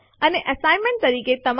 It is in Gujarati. અન્ય સામાન્ય વિકલ્પ r વિકલ્પ છે